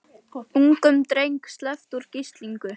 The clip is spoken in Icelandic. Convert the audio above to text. Ungum dreng sleppt úr gíslingu